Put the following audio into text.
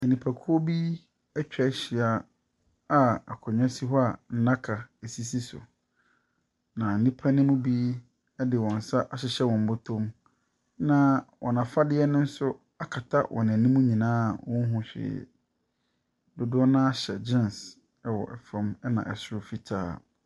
Nnipakuo bi atwa ahyia a akonnwa si hɔ a nnaka sisi so. Na nnipa no mu bi de wɔn nsa ahyehyɛ wɔn bɔtɔm. Na wɔn afadeɛ no nso akata wɔn anim nyinaa a wɔnhunu hwee. Dodoɔ no ara hyɛ geans wɔ fam, ɛna ɛsoro fitaa.